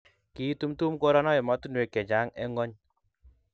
kiitumtum korono emotunwek che chang' eng' ng'ony